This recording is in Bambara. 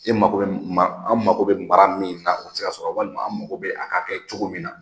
E mako bɛ ma , an mago bɛ mara min na, o ti se ka sɔrɔ walima an mako bɛ a ka kɛ cogo min na